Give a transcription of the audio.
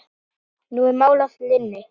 Nú er mál að linni.